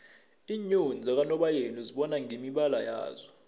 iinyoni zakanobayeni uzibona ngemibala yazo